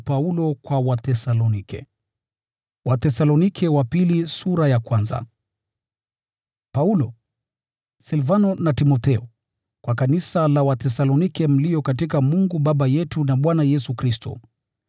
Paulo, Silvano na Timotheo: Kwa kanisa la Wathesalonike mlio katika Mungu Baba yetu na Bwana Yesu Kristo: